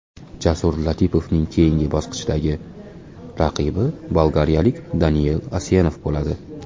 Jasur Latipovning keyingi bosqichdagi raqibi bolgariyalik Daniel Asenov bo‘ladi.